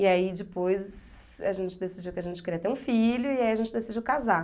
E aí depois a gente decidiu que a gente queria ter um filho e aí a gente decidiu casar.